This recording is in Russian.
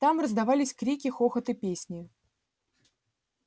там раздавались крики хохот и песни